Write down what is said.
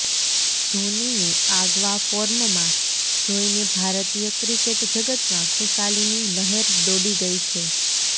ધોનીને આગવા ફોર્મમાં જોઈને ભારતીય ક્રિકેટ જગતમાં ખુશાલીની લહેર દોડી ગઈ છે